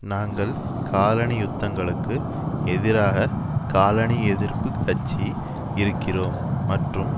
நாங்கள் காலனி யுத்தங்களுக்கு எதிராக காலனி எதிர்ப்பு கட்சி இருக்கிறோம் மற்றும்